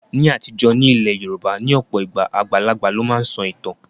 Ní àtijọ́, ní ilẹ̀ Yorùbá, ní ọ̀pọ̀ ìgbà, àgbàlagbà ló máa ń sọ ìtàn